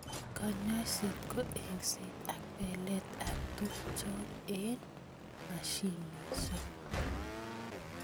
Kanyoiset ko engset ak belet ab tukjot eng mashinishek.